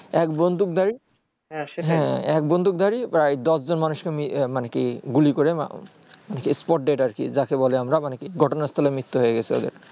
এক বন্দুক ধারী এক বন্দুক ধারী বা দশজনে মানুষ কে মে মানে কি গুলি করে spot dead আর কি যাকে বলে আমরা মানে কি ঘটনাস্থলে মৃত্যু হয়ে গেছে